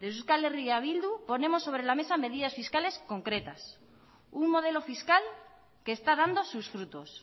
desde euskal herria bildu ponemos sobre la mesa medidas fiscales concretas un modelo fiscal que está dando sus frutos